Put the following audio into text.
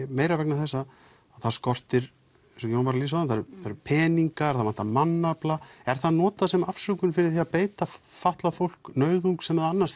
meira vegna þess að það skortir peninga mannafla er það notað sem afsökun fyrir að beita fatlað fólk nauðung sem það annars